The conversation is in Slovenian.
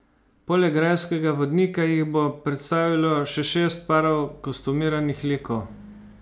Poleg grajskega vodnika jih bo predstavilo še šest parov kostumiranih likov.